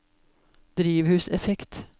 drivhuseffekt